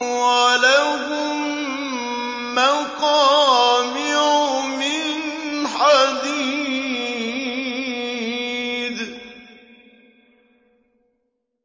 وَلَهُم مَّقَامِعُ مِنْ حَدِيدٍ